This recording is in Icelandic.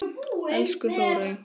Elsku Þórey.